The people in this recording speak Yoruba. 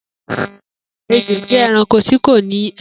Ejò jẹ ẹranko tíkò ní ẹsẹ.